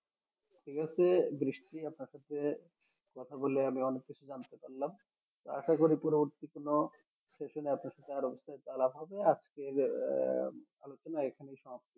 ঠিক আছে বৃষ্টি আপনার সাথে কথা বলে আমি অনেক কিছু জানতে পারলাম আশা করি পরবর্তী কোনও session এ আপনার সাথে আরো বিষয়ে আলাপ হবে আজকের আহ ভালো থাকেন আর এখানেই সমাপ্ত